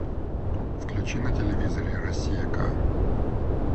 включи на телевизоре россия к